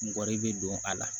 Mɔgɔ de bɛ don a la